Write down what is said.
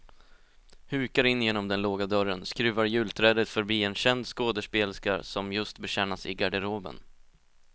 Hukar in genom den låga dörren, skruvar julträdet förbi en känd skådespelerska som just betjänas i garderoben.